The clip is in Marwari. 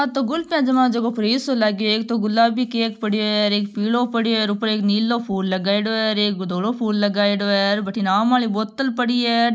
आ तो गुल्फिया जमावे जको फ्रीज सो लाग्यो एक तो गुलाबी केक पड़ियों है एक पिलो पड़ियो है और ऊपर एक नीलो फूल लगायोडो है एक धोलो फूल लगायोडो है बठीने आम आली बोतल पड़ी है।